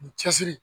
U bɛ cɛsiri